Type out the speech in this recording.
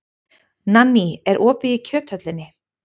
Nanný, er opið í Kjöthöllinni?